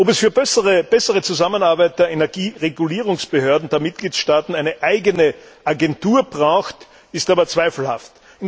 Ob für die bessere Zusammenarbeit der Energieregulierungsbehörden der Mitgliedstaaten eine eigene Agentur notwendig ist, ist aber zweifelhaft.